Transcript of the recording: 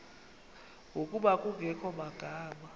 ngokuba kungekho magama